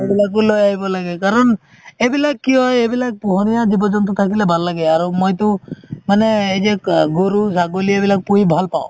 সেইবিলাকও লই আহিব লাগে কাৰণ এইবিলাক কি হয়, এইবিলাক পোহনিয়া জীৱ জন্তু থাকিলে ভাল লাগে আৰু মইতো এই যে গৰু ছাগলি এইবিলাক পোহি ভাল পাও